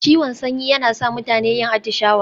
Ciwon sanyi yana sa mutane yin atishawa.